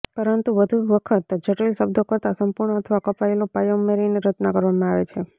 પરંતુ વધુ વખત જટિલ શબ્દો કરતાં સંપૂર્ણ અથવા કપાયેલો પાયા ઉમેરીને રચના કરવામાં આવે છે